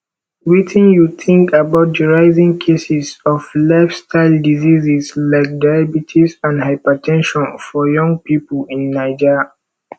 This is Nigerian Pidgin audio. wetin you think about di rising cases of lifestyle diseases like diabetes and hyper ten sion for young people in naija